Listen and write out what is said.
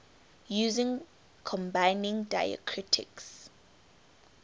using combining diacritics